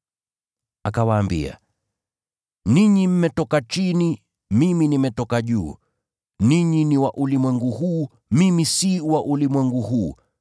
Akawaambia, “Ninyi mmetoka chini, mimi nimetoka juu. Ninyi ni wa ulimwengu huu, mimi si wa ulimwengu huu.